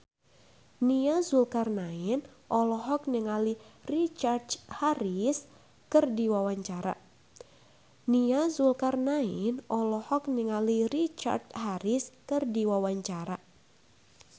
Nia Zulkarnaen olohok ningali Richard Harris keur diwawancara